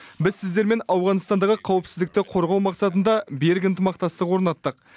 біз сіздермен ауғанстандағы қауіпсіздікті қорғау мақсатында берік ынтымақтастық орнаттық